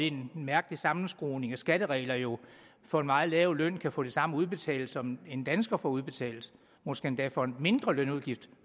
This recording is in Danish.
en mærkelig sammenskruning af skatteregler jo for en meget lav løn kan få det samme udbetalt som en dansker får udbetalt måske endda for en mindre lønudgift